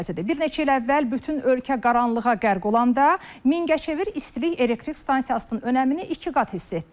Bir neçə il əvvəl bütün ölkə qaranlığa qərq olanda Mingəçevir istilik elektrik stansiyasının önəmini iki qat hiss etdik.